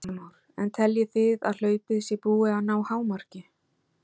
Kristján Már: En teljið þið að hlaupið sé búið að ná hámarki?